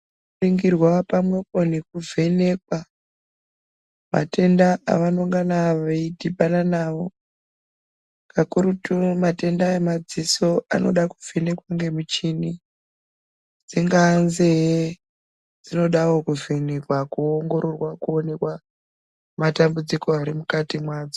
Tikaringirwa pamwepo nekuvhenekwa matenda evanongana veidhibana nawo kakurutu matenda emadziso anoda kuvhenekwa ngemichini dzingaa nzee dzinodawo kuvhenekwa kuongororwa kuonekwa matambudziko ari mukati mwadzo.